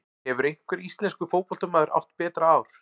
Hefur einhver íslenskur fótboltamaður átt betra ár?